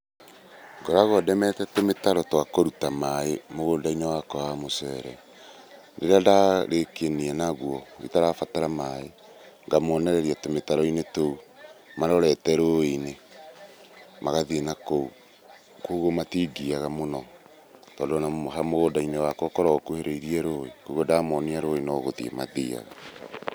Ngoragwo ndemete tũmĩtaro twa kũruta maĩ mũgũnda-inĩ wakwa wa mũcere. Rĩrĩa ndarĩkania naguo itarabatara maĩ, ngamonereria tũmĩtaro-inĩ tũu marorete rũĩ-inĩ magathiĩ nakũu, kogwo matingiaga mũno tondũ ona mũgũnda-inĩ wakwa ũkoragwo ũkuhĩrĩirie rũĩ, kogwo ndamonia rũĩ nogũthiĩ mathiaga.